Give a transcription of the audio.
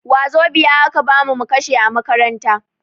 Wazobia a ka bamu mu kashe a makaranta.